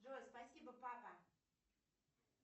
джой спасибо папа